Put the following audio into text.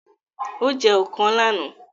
Ó jẹ ọ̀kàn lánàá!